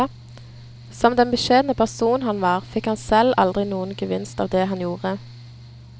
Som den beskjedne person han var, fikk han selv aldri noen gevinst av det han gjorde.